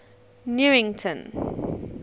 newington